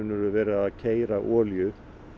verið að keyra olíu